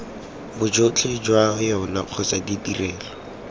bojotlhe jwa yona kgotsa ditrelo